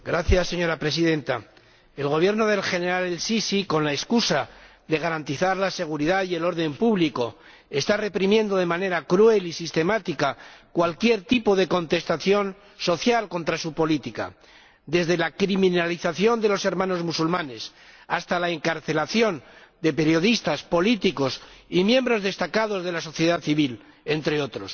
Señora Presidenta, el Gobierno del general al Sisi, con la excusa de garantizar la seguridad y el orden público, está reprimiendo de manera cruel y sistemática cualquier tipo de contestación social contra su política, desde la criminalización de los Hermanos Musulmanes hasta la encarcelación de periodistas, políticos y miembros destacados de la sociedad civil, entre otros.